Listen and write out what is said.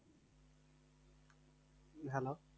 Hello